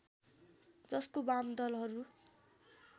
जसको वामदलहरू